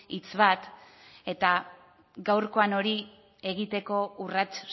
hitz bat eta gaurkoan hori egiteko urrats